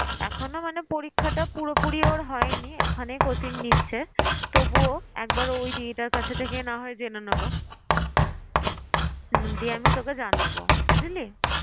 এখনো মানে পরীক্ষাটা পুরোপুরি ওর হয়নি ওখানেই coaching নিচ্ছে তবুও একবার ওই দিদি টার কাছে থেকেই না হয় জেনে নেব। হম দিয়ে আমি তোকে জানাবো বুঝলি?